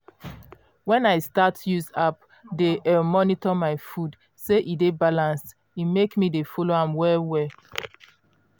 when i start use app dey um monitor my food say e dey balanced e make me dey follow am well well.